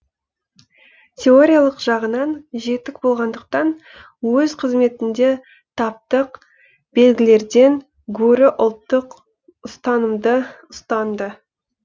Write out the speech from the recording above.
теориялық жағынан жетік болғандықтан өз қызметінде таптық белгілерден гөрі ұлттық ұстанымды ұстанды